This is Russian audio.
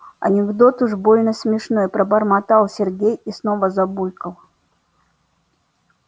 анекдот уж больно смешной пробормотал сергей и снова забулькал